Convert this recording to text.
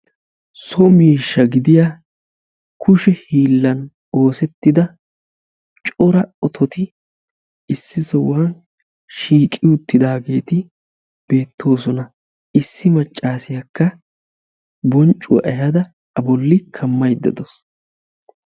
So miishsha gidiya kushe hiilan oosetida cora ototi beettoosona issi maaccasiyakka bonccuwaa ehaada A bolli kammaydda dawusu.